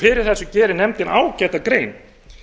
fyrir þessu gerir nefndin ágæta grein